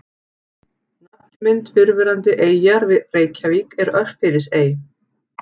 Nafnmynd fyrrverandi eyjar við Reykjavík er Örfirisey.